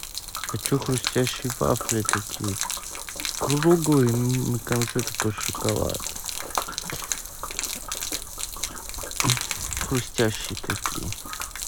хочу хрустящие вафли такие круглые на конце такой шоколад хрустящие такие